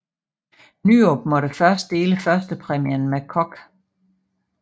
Nyrop måtte først dele førstepræmien med Koch